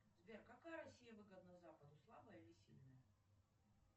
сбер какая россия выгодна западу слабая или сильная